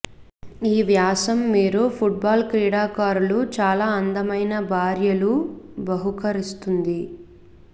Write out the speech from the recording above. ఈ వ్యాసం మీరు ఫుట్బాల్ క్రీడాకారులు చాలా అందమైన భార్యలు బహుకరిస్తుంది